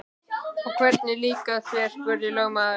Og hvernig líkar þér, spurði lögmaður.